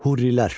Hurrilər.